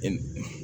E